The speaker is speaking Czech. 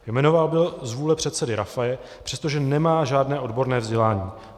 Jmenován byl z vůle předsedy Rafaje, přestože nemá žádné odborné vzdělání.